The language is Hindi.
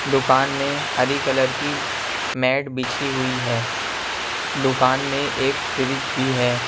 दुकान में हरी कलर की मेट बिछी हुई है दुकान में एक फ्रिज भी है।